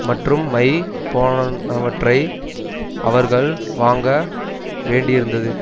மற்றும் மை போன்றவற்றை அவர்கள் வாங்க வேண்டியிருந்தது